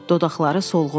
Dodaqları solğundur.